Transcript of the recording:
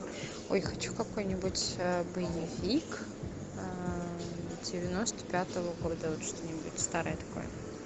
ой хочу какой нибудь боевик девяносто пятого года вот что нибудь старое такое